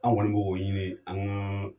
Anw kɔni b'o ɲini an ka